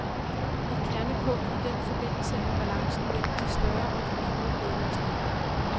Et kernepunkt i den forbindelse er balancen mellem de større og de mindre medlemslande.